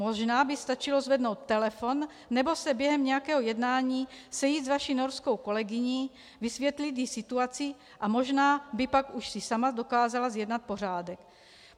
Možná by stačilo zvednout telefon nebo se během nějakého jednání sejít s vaší norskou kolegyní, vysvětlit jí situaci a možná by pak už si sama dokázala zjednat pořádek.